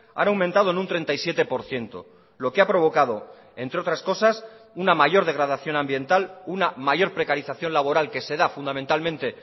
han aumentado en un treinta y siete por ciento lo que ha provocado entre otras cosas una mayor degradación ambiental una mayor precarización laboral que se da fundamentalmente